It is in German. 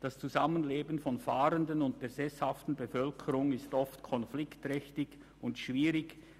Das Zusammenleben von Fahrenden und der sesshaften Bevölkerung ist oft konfliktträchtig und schwierig.